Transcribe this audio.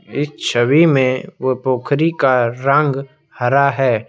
इस छवि में वो पोखरी का रंग हरा है।